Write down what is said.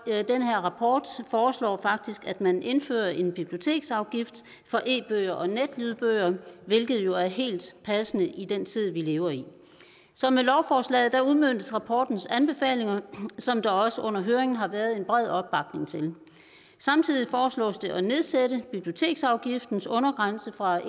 rapport foreslår faktisk at man indfører en biblioteksafgift for e bøger og netlydbøger hvilket jo er helt passende i den tid vi lever i så med lovforslaget udmøntes rapportens anbefalinger som der også under høringen har været en bred opbakning til samtidig foreslås det at nedsætte biblioteksafgiftens undergrænse fra